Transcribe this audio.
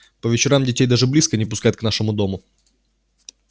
по вечерам детей даже близко не пускают к нашему дому